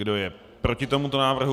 Kdo je proti tomuto návrhu?